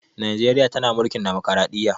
Najreriya tana mulkin dimokradiyya